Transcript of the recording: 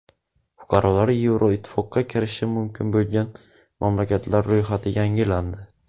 Fuqarolari Yevroittifoqqa kirishi mumkin bo‘lgan mamlakatlar ro‘yxati yangilandi.